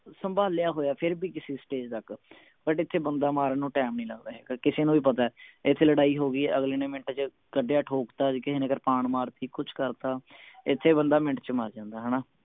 ਸੰਭਾਲਿਆ ਹੋਇਆ ਫੇਰ ਵੀ ਕਿਸੇ stage ਤਕ ਸਾਡੇ ਇਥੇ ਬੰਦਾ ਮਾਰਨ ਨੂੰ ਟੈਮ ਨੀ ਲਗਦਾ ਹੈਗਾ ਕਿਸੇ ਨੂੰ ਵੀ ਪਤਾ ਇਥੇ ਲੜਾਈ ਹੋ ਗਈ ਅਗਲੇ ਨੇ ਮਿੰਟ ਚ ਕੱਢਿਆ ਠੋਕ ਤਾ ਜਾ ਕਿਸੇ ਨੇ ਕਿਰਪਾਨ ਮਾਰਤੀ ਕੁਛ ਕਰਤਾ ਇਥੇ ਬੰਦਾ ਮਿੰਟ ਚ ਮਰ ਜਾਂਦਾ ਹਣਾ